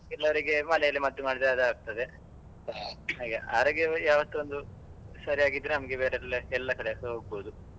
ಕೆಲವ್ರಿಗೆ ಮನೆಯಲ್ಲಿ ಮದ್ದು ಮಾಡಿದ್ರೆ ಅದು ಆಗ್ತದೆ ಹಾಗೆ ಆರೋಗ್ಯವು ಯಾವತ್ತು ಒಂದು ಸರಿಯಾಗಿದ್ರೆ ನಮಗೆ ಬೇರೆ ಎಲ್ಲಕಡೆಸ ಹೋಗ್ಬೋದು.